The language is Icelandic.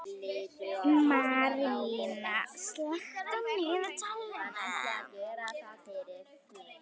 Marín, slökktu á niðurteljaranum.